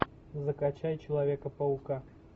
закачай человека паука